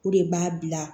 O de b'a bila